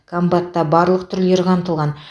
комбатта барлық түрлері қамтылған